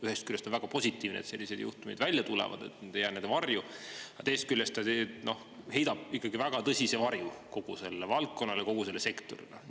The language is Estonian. Ühest küljest on väga positiivne, et sellised juhtumid välja tulevad, et need ei jää varju, aga teisest küljest heidab ikkagi väga tõsise varju kogu sellele valdkonnale, kogu sellele sektorile.